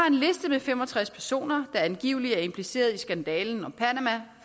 en liste med fem og tres personer angiveligt er impliceret i skandalen om panama